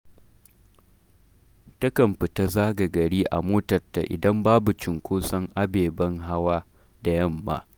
Takan fita zaga gari a motarta idan babu cunskoson ababen hawa da yamma’